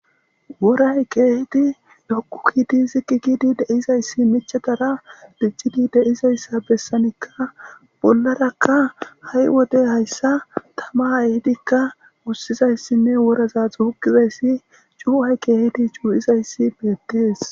woray keehidi doku kidi zikikidi deizayssi michadara diccidi deizayssa bessanikka bollarakka ha7i wodey hayssa tama ehidikka wussizayssinne woraza xuhukizayssi cuu7ay keehidi cuu7izayssi beettees